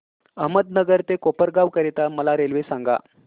अहमदनगर ते कोपरगाव करीता मला रेल्वे सांगा